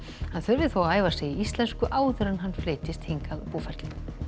hann þurfi þó að æfa sig í íslensku áður en hann flytjist hingað búferlum